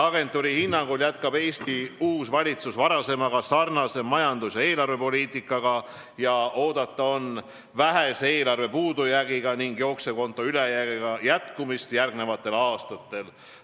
Agentuuri hinnangul jätkab Eesti uus valitsus varasemaga sarnast majandus- ja eelarvepoliitikat ning oodata on vähese eelarvepuudujäägi ning jooksva konto ülejäägi jätkumist järgmistel aastatel.